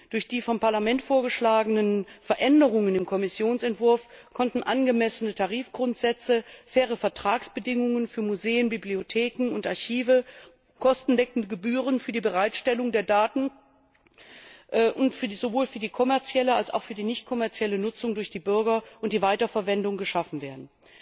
Durch die vom Parlament vorgeschlagenen Änderungen im Kommissionsentwurf konnten angemessene Tarifgrundsätze, faire Vertragsbedingungen für Museen, Bibliotheken und Archive, kostendeckende Gebühren für die Bereitstellung der Daten sowohl für die kommerzielle als auch für die nichtkommerzielle Nutzung durch die Bürger und die Weiterverwendung geschaffen werden.